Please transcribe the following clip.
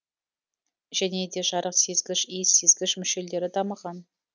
және де жарық сезгіш иіс сезгіш мүшелері дамыған